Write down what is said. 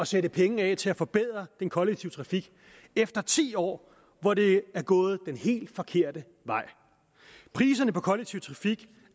sætte penge af til at forbedre den kollektive trafik efter ti år hvor det er gået den helt forkerte vej priserne på kollektiv trafik